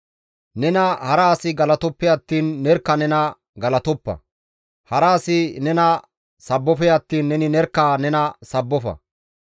Nena hara asi galatoppe attiin nerkka nena galatoppa; hara asi nena sabbofe attiin neni nerkka nena sabbofa.